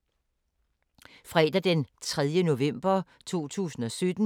Fredag d. 3. november 2017